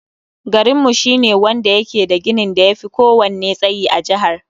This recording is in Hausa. Garinmu shi ne wanda yake da ginin da yafi ko wanne tsayi a jahar